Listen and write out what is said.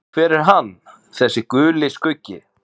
Hver er hann, þessi Guli skuggi?